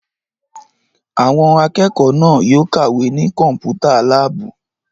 Àwọn akẹ́kọ̀ọ́ náà yóò kàwé ní Kọ́mpútà láàbù!